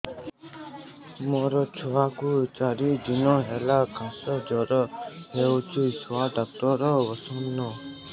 ମୋ ଛୁଆ କୁ ଚାରି ଦିନ ହେଲା ଖାସ ଜର କେଉଁଠି ଛୁଆ ଡାକ୍ତର ଵସ୍ଛନ୍